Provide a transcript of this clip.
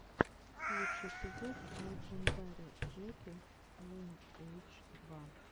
лучший эпизод лэджендари жеки лайнэйдж два